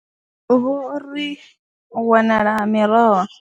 Vho ri u wanala ha miroho.